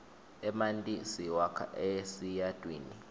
emanti siwakha esiyatwini